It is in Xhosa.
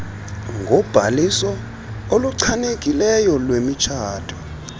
ngobhaliso oluchanekileyo lwemitshato